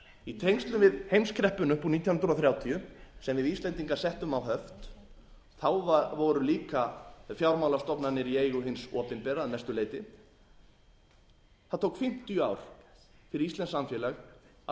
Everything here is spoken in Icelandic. í tengslum við heimskreppuna upp úr nítján hundruð þrjátíu sem við íslendingar settum á höft þá voru líka fjármálastofnanir í eigu hins opinbera að mestu leyti það tók fimmtíu ár fyrir íslenskt samfélag að